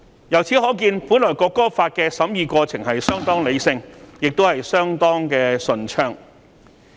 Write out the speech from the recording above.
由此可見，《條例草案》的審議過程原本是相當理性，亦相當順暢。